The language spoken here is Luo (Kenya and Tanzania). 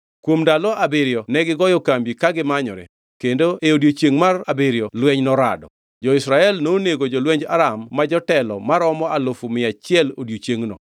Kuom ndalo abiriyo negigoyo kambi ka gimanyore, kendo e odiechiengʼ mar abiriyo lweny norado. Jo-Israel nonego jolwenj Aram ma jotelo maromo alufu mia achiel odiechiengno.